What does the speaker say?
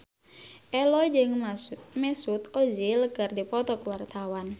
Ello jeung Mesut Ozil keur dipoto ku wartawan